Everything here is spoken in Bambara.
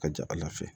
Ka ca ala fɛ